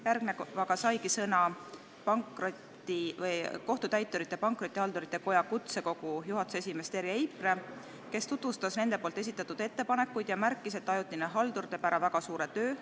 Järgnevalt saigi sõna Kohtutäiturite ja Pankrotihaldurite Koja kutsekogu juhatuse esimees Terje Eipre, kes tutvustas nende esitatud ettepanekuid ja märkis, et ajutine haldur teeb ära väga suure töö.